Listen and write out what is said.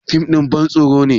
fim ɗin bantsoro ne